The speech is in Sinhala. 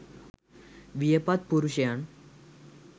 වියපත් පුරුෂයන්